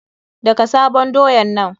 Daka sabon doyan nan!